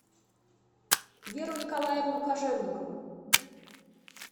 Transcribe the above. веру николаевну кожевникову